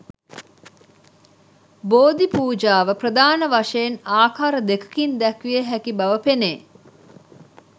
බෝධි පූජාව ප්‍රධාන වශයෙන් ආකාර දෙකකින් දැක්විය හැකි බව පෙනේ.